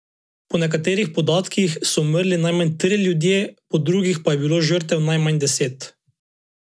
Po nekaterih podatkih so umrli najmanj trije ljudje, po drugih pa je bilo žrtev najmanj deset.